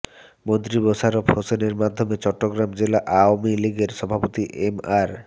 মন্ত্রী মোশাররফ হোসেনের মাধ্যমে চট্টগ্রাম জেলা আওয়ামী লীগের সভাপতি এম আর